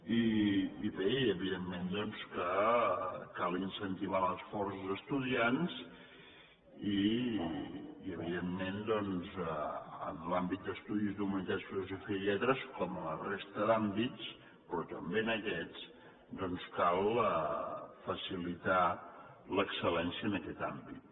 i bé evidentment doncs cal incentivar l’esforç d’es·tudiants i evidentment doncs en l’àmbit d’estudis d’humanitats filosofia i lletres com a la resta d’àm·bits però també en aquests doncs cal facilitar l’excel·lència en aquest àmbit